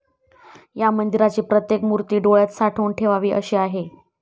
या मंदिराची प्रत्येक मुर्ती डोळ्यात साठवून ठेवावी अशी आहे.